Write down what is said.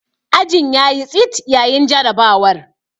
Ajin ya yi tsit yayin jarrabawar.